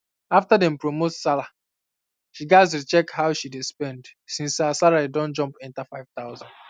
after dem promote sarah she gats recheck how um she dey um spend since her salary don jump enter 5000 um